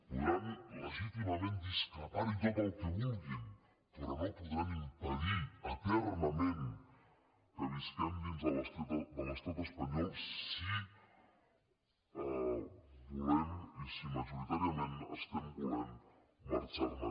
podran legítimament discrepar hi tot el que vulguin però no podran impedir eternament que visquem dins de l’estat espanyol si volem i si majoritàriament estem volent marxar ne